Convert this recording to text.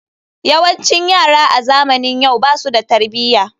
Yawancin yara a zamanin yau basu da tarbiyya.